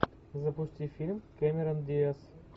запусти фильм кэмерон диаз